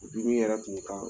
Jiri yɛrɛ kun kan